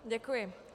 Děkuji.